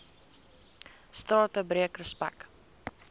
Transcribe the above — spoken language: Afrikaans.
strate breek respek